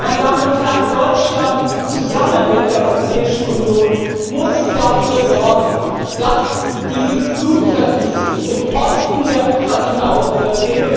Meine Damen und Herren, Deutschland muss zusammen mit der Europäischen Union dafür sorgen, dass dieses Blutvergießen im Osten der Ukraine aufhört.